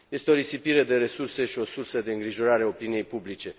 Este o risipire de resurse și o sursă de îngrijorare a opiniei publice.